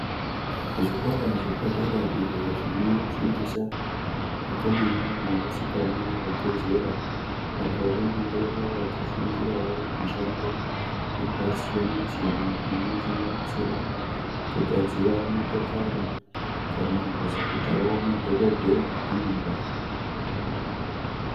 Zvikora zvepadera izvo zvinofundisa vakomana nevasikana vabve zera apo vanenge vava kufundirawo mushando yakasiyana siyana inosanganisira kugadzira motokari kana kuzoitawo madhokodheye amangwani.